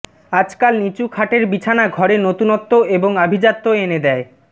আজকাল নিচু খাটের বিছনা ঘরে নতুনত্ব এবং আভিজাত্য এনে দেয়